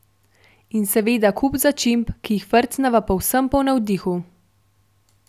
In seveda kup začimb, ki jih frcneva povsem po navdihu.